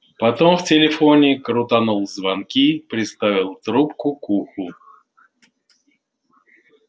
потом в телефоне крутанул звонки приставил трубку к уху